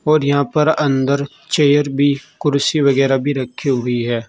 और यहां पर अन्दर चेयर भी कुर्सी वगैरा भी रखी हुई हैं।